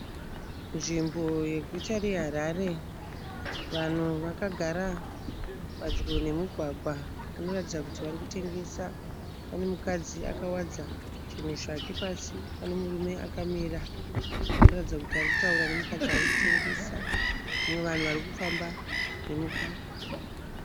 Nzvimbo yeguta reHarare. Vanhu vakagara padyo nemugwagwa. Vanoratidza kuti varikutengesa. Pane mukadzi akawaridza zvinhu zvake pasi. Pane murume akamira anoratidza kuti arikutaura nemukadzi arikutengesa. Uye vanhu varikufamba nemugwagwa.